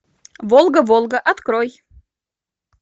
волга волга открой